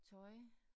Tøj